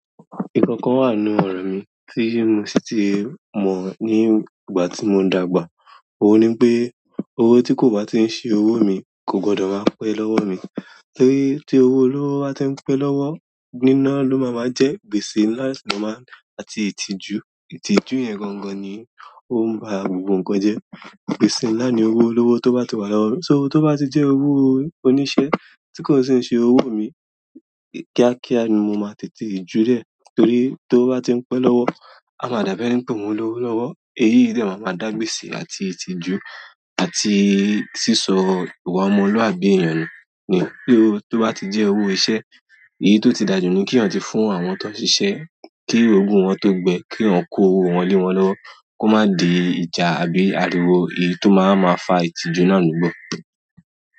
Ìkankan wà nínú ọ̀rọ̀ mi tí n sì tí mọ̀ ní ìgbà tí mọ dàgbà. Ó ní pé owó tí kò bá tíì ṣe owó mi kò gbọdọ máa pẹ́ lọ́wọ mi. Torí ti owolowo ba ti n pe lọwọ nina lo maa maa je gbese nlà sini àti itiju. Ìtùjú yẹn gangan ni ó ń ba gbogbo nǹkan jẹ́. Gbésè ńlá ni owó olówó tó bá ti wà lọ́wọ́. So owó tó bá ti jẹ́ owó oníṣẹ́ tí kò ṣe ṣe owó mi kíákíá ni mo máa tètè ju lẹ̀. Torí tí ówo bá ti ń pẹ́ lọ́wọ́, a máa dàbí ẹni n pé mo lówó lọ́wọ́. Èyí de máa ma dà gbèsè àti ìtìjú àti sísọ ìwà ọmọlúàbí ènìyàn nu nì. So to ba ti je owo iṣẹ́ eyii to ti da ju ni ki èèyàn ti fún àwọn to ṣiṣẹ ki ogun wọn to gbe ki eeyan ko owo wọn le wọn lọwọ ko ma di ìjà tàbí ariwo. Ẹyi tó máa wa fa ìtìjú náà nígbà.